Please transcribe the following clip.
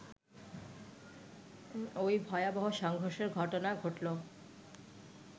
ওই ভয়াবহ সংঘর্ষের ঘটনা ঘটলো